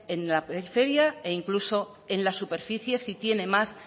en la periferia e incluso en las superficies si tiene más